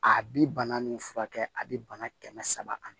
A bi bana nin furakɛ a bi bana kɛmɛ saba ani